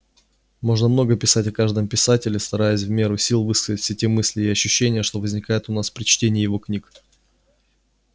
можно много писать о каждом писателе стараясь в меру сил высказать все те мысли и ощущения что возникают у нас при чтении его книг